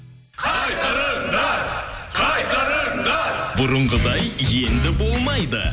қайтарыңдар қайтарыңдар бұрынғыдай енді болмайды